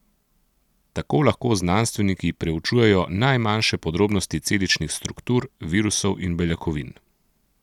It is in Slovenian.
Tako lahko znanstveniki preučujejo najmanjše podrobnosti celičnih struktur, virusov in beljakovin.